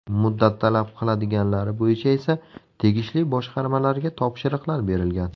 Muddat talab qiladiganlari bo‘yicha esa tegishli boshqarmalarga topshiriqlar berilgan.